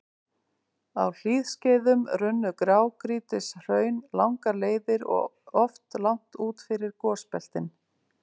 Á hlýskeiðum runnu grágrýtishraun langar leiðir og oft langt út fyrir gosbeltin.